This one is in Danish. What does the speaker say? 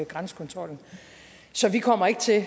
grænsekontrollen så vi kommer ikke til